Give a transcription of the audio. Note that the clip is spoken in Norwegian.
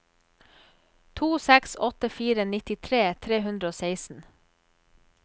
to seks åtte fire nittitre tre hundre og seksten